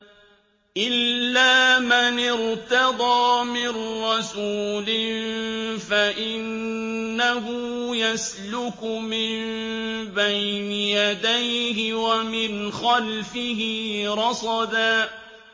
إِلَّا مَنِ ارْتَضَىٰ مِن رَّسُولٍ فَإِنَّهُ يَسْلُكُ مِن بَيْنِ يَدَيْهِ وَمِنْ خَلْفِهِ رَصَدًا